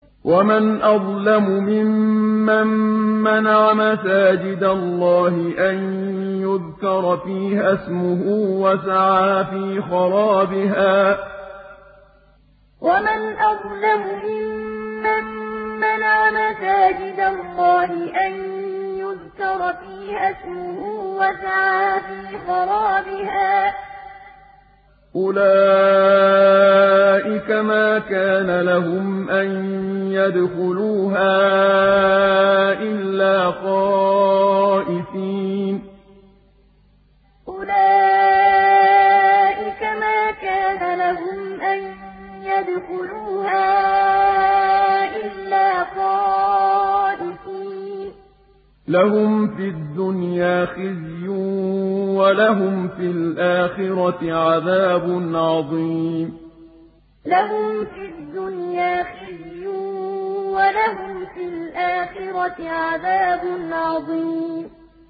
وَمَنْ أَظْلَمُ مِمَّن مَّنَعَ مَسَاجِدَ اللَّهِ أَن يُذْكَرَ فِيهَا اسْمُهُ وَسَعَىٰ فِي خَرَابِهَا ۚ أُولَٰئِكَ مَا كَانَ لَهُمْ أَن يَدْخُلُوهَا إِلَّا خَائِفِينَ ۚ لَهُمْ فِي الدُّنْيَا خِزْيٌ وَلَهُمْ فِي الْآخِرَةِ عَذَابٌ عَظِيمٌ وَمَنْ أَظْلَمُ مِمَّن مَّنَعَ مَسَاجِدَ اللَّهِ أَن يُذْكَرَ فِيهَا اسْمُهُ وَسَعَىٰ فِي خَرَابِهَا ۚ أُولَٰئِكَ مَا كَانَ لَهُمْ أَن يَدْخُلُوهَا إِلَّا خَائِفِينَ ۚ لَهُمْ فِي الدُّنْيَا خِزْيٌ وَلَهُمْ فِي الْآخِرَةِ عَذَابٌ عَظِيمٌ